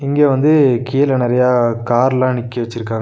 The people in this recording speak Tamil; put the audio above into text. இங்க வந்து கீழ நெறையா கார்லா நிக்க வெச்சிருக்காங்க.